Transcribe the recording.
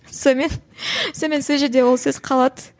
сонымен сонымен сол жерде ол сөз қалады